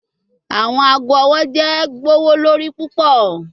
Awọn aago ọwọ jẹ gbowolori pupọ